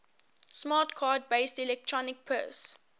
smart card based electronic purse